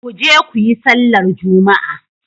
Ku je ku yi sallar juma'a!